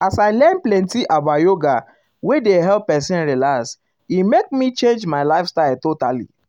as i learn plenty about yoga wey dey help person relax e make me change um my lifestyle totally.